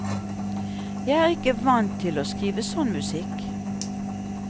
Jeg er ikke vant til å skrive sånn musikk.